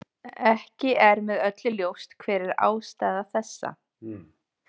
Ekki er með öllu ljóst hver er ástæða þessa.